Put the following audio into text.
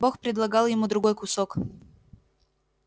бог предлагал ему другой кусок